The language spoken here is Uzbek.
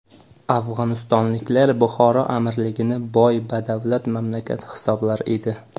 Afg‘onistonliklar Buxoro amirligini boy-badavlat mamlakat hisoblar edi.